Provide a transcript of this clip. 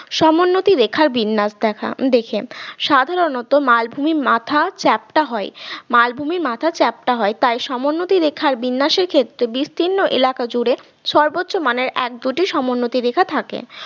সমোন্নতি রেখার বিন্যাস দেখা দেখে সাধারণত মালভূমির মাথা চ্যাপ্টা হয় মালভূমির মাথা চ্যাপ্টা হয় তাই সমোন্নতি রেখার বিন্যাসের ক্ষেত্রে বিস্তীর্ণ এলাকা জুড়ে সর্বোচ্চ মানের এক দুটি সমোন্নতি রেখা থাকে